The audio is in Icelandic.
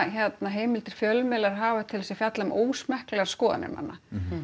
himildir fjölmiðlar hafa til að fjalla um ósmekklegar skoðanir manna